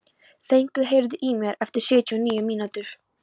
Fengur, heyrðu í mér eftir sjötíu og níu mínútur.